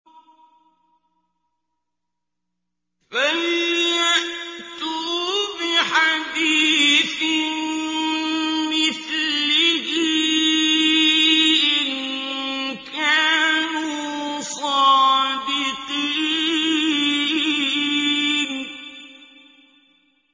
فَلْيَأْتُوا بِحَدِيثٍ مِّثْلِهِ إِن كَانُوا صَادِقِينَ